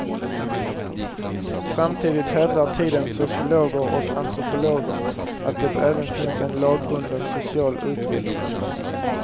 Samtidigt hävdar tidens sociologer och antropologer att det även finns en lagbunden social utveckling.